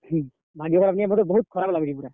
ହୁଁ, ଭାଗ୍ୟ ଖରାପ୍ ନିକେଁ ବହୁତ୍ ଖରାପ୍ ଲାଗୁଛେ ପୁରା।